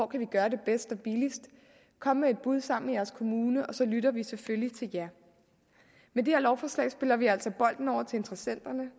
gøre det bedst og billigst kom med et bud sammen med jeres kommune og så lytter vi selvfølgelig til jer med det her lovforslag spiller vi altså bolden over til interessenterne